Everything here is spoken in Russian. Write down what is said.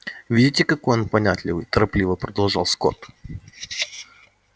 видите какой он понятливый торопливо продолжал скотт